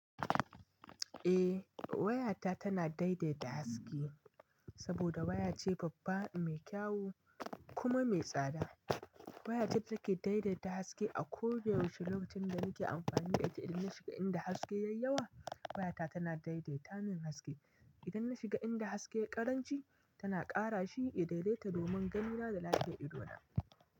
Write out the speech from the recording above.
Eh wayata tana daidaita haske saboda waya ce babba, mai kyau kuma mai tsada. Wayace da take daidaita haske a kowane wuce lokacin da muke amfani da ita. Idan na shiga inda haske ya yi yawa, wayata tana daidaita min haske. Idan na shiga inda haske ya ƙaranci, tana ƙara shi idan dai ta domin ganina da lafiyar idona.